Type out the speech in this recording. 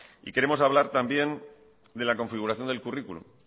queremos hablar también de la configuración del currículum